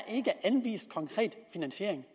anvist konkret finansiering